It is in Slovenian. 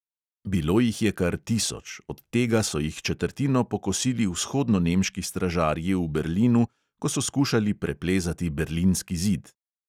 Bilo jih je kar tisoč, od tega so jih četrtino pokosili vzhodnonemški stražarji v berlinu, ko so skušali preplezati berlinski zid.